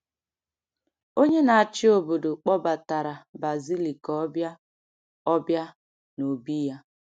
Onye na-achị obodo kpọbatara Bazilị ka ọ bịa ọ bịa n’obí ya.